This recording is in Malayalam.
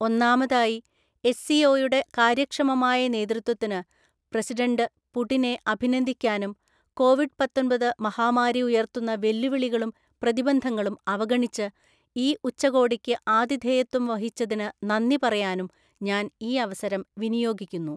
ഒന്നാമതായി, എസ്സിഒയുടെ കാര്യക്ഷമമായ നേതൃത്വത്തിന് പ്രസിഡന്റ് പുടിനെ അഭിനന്ദിക്കാനും കോവിഡ് പത്തൊന്‍പത് മഹാമാരി ഉയർത്തുന്ന വെല്ലുവിളികളും പ്രതിബന്ധങ്ങളും അവഗണിച്ച് ഈ ഉച്ചകോടിക്ക് ആതിഥേയത്വം വഹിച്ചതിനു നന്ദി പറയാനും ഞാന്‍ ഈ അവസരം വിനിയോഗിക്കുന്നു.